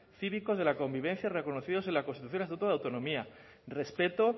cívicos de la convivencia reconocidos en la constitución y el estatuto de autonomía respeto